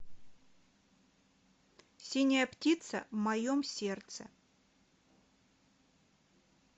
синяя птица в моем сердце